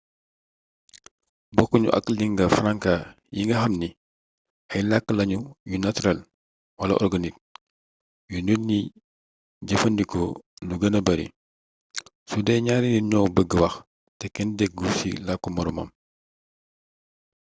bokku ñu ak lingua franca yi nga xamni ay làkk lañu yu naturel wala organique yu nit ñi di jëfandikoo lu gëna bari sudee ñaari nit ñoo beg wax te kenn déggu ci làkku moroomam